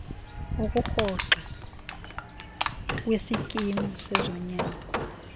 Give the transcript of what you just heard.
ukurhoxa kwisikimu sezonyango